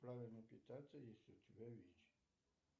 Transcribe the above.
правильно питаться если у тебя вич